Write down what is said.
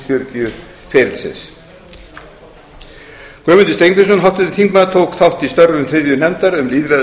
ferlisins guðmundur steingrímsson háttvirtur þingmaður tók þátt í störfum þriðju nefndar um lýðræðis og